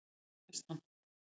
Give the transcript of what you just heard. Hvernig erfist hann?